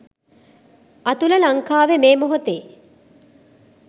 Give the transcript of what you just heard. අතුල ලංකාවෙ මේ මොහොතෙ